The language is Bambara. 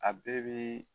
A bɛɛ bi